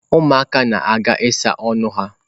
Ụmụaka na-aga ịsa ọnụ ha.